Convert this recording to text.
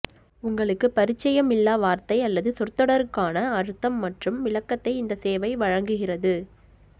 உங்களுக்கு பரிச்சயம் இல்லா வார்த்தை அல்லது சொற்தொடருக்கான அர்த்தம் மற்றும் விளக்கத்தை இந்த சேவை வழங்குகிறது